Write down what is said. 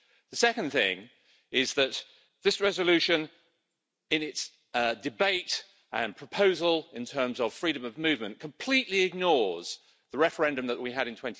The second thing is that this resolution, in its debate and proposal in terms of freedom of movement, completely ignores the referendum that we had in